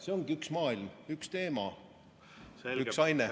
See ongi üks maailm, üks teema, üks aine.